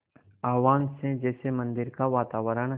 आह्वान से जैसे मंदिर का वातावरण